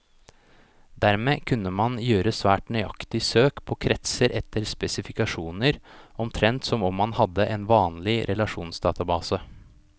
Dermed kunne man gjøre svært nøyaktige søk på kretser etter spesifikasjoner, omtrent som om man hadde en vanlig relasjonsdatabase.